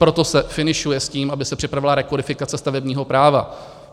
Proto se finišuje s tím, aby se připravila rekodifikace stavebního práva.